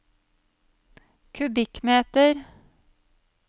kubikkmeter